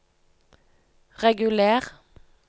reguler